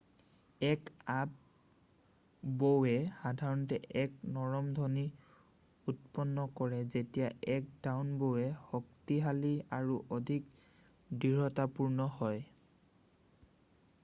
এক আপ-বউয়ে সাধাৰণতে এক নৰম ধ্বনিক উৎপন্ন কৰে যেতিয়া এক ডাউন-বউ শক্তিশালী আৰু অধিক দৃঢ়তাপূৰ্ণ হয়৷